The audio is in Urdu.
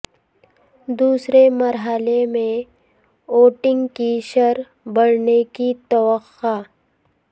دوسرے مرحلے میں ووٹنگ کی شرح بڑھنے کی توقع